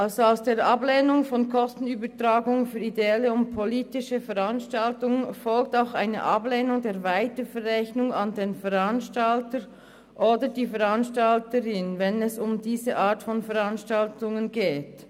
Aus der Ablehnung einer Kostenübertragung für ideelle und politische Veranstaltungen folgt auch eine Ablehnung der Weiterverrechnung an den Veranstalter oder an die Veranstalterin, wenn es um diese Art von Veranstaltungen geht.